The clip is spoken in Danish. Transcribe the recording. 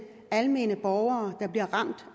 almindelige borgere der bliver ramt